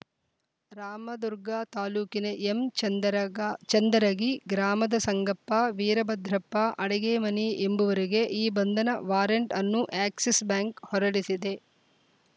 ರಾಮದುರ್ಗ ತಾಲೂಕಿನ ಎಂ ಚಂದರಗ ಚಂದರಗಿ ಗ್ರಾಮದ ಸಂಗಪ್ಪ ವೀರಭದ್ರಪ್ಪ ಅಡಗಿಮನಿ ಎಂಬುವರಿಗೆ ಈ ಬಂಧನ ವಾರಂಟ್‌ ಅನ್ನು ಎಕ್ಸಿಸ್‌ ಬ್ಯಾಂಕ್‌ ಹೊರಡಿಸಿದೆ